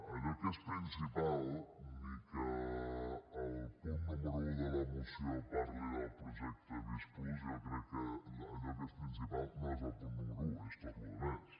allò que és principal ni que el punt número un de la moció parli del projecte visc+ jo crec que allò que és principal no és el punt número un és tota la resta